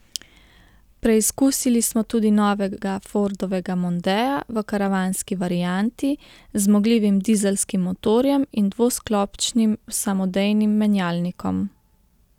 Preizkusili smo tudi novega Fordovega mondea, v karavanski varianti, z zmogljivim dizelskim motorjem in dvosklopčnim samodejnim menjalnikom.